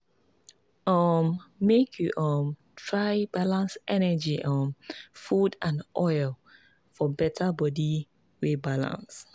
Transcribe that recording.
um make you um try balance energy um food and oil for better body wey balance.